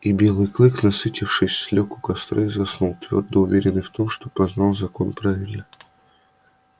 и белый клык насытившись лёг у костра и заснул твёрдо уверенный в том что познал закон правильно